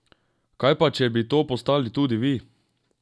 Kaj pa, če bi to postali tudi vi?